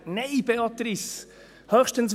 Nein, Béatrice Stucki!